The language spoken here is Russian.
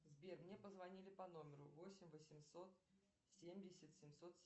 сбер мне позвонили по номеру восемь восемьсот семьдесят семьсот